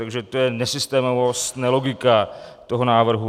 Takže to je nesystémovost, nelogika toho návrhu.